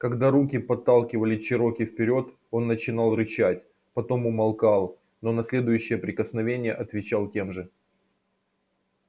когда руки подталкивали чероки вперёд он начинал рычать потом умолкал но на следующее прикосновение отвечал тем же